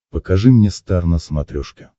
покажи мне стар на смотрешке